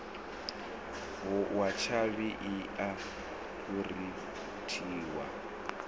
wa tshavhi i a phurinthiwa